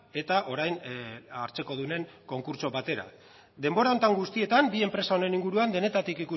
eta orain hartzekodunen konkurtso batera denbora honetan guztietan bi enpresa honen inguruan denetarik